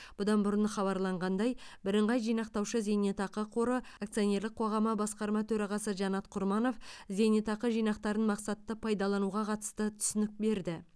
бұдан бұрын хабарланғандай бірыңғай жинақтаушы зейнетақы қоры акционерлік қоғамы басқарма төрағасы жанат құрманов зейнетақы жинақтарын мақсатты пайдалануға қатысты түсінік берді